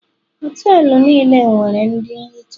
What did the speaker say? Họtelu niile nwere ndị nhicha